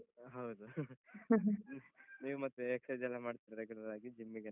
ಹೌದು . ನೀವು ಮತ್ತೆ exercise ಎಲ್ಲ ಮಾಡ್ತೀರ regular ಆಗಿ, gym ಗೆಲ್ಲ